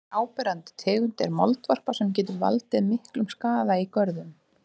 Önnur áberandi tegund er moldvarpa sem getur valdið miklum skaða í görðum.